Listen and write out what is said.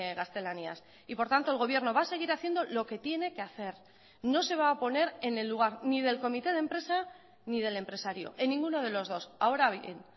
gaztelaniaz y por tanto el gobierno va a seguir haciendo lo que tiene que hacer no se va a poner en el lugar ni del comité de empresa ni del empresario en ninguno de los dos ahora bien